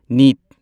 neat